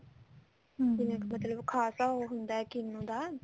ਵੀ ਮਤਲਬ ਖਾਸਾ ਉਹ ਹੁੰਦਾ ਕਿੰਨੂ ਦਾ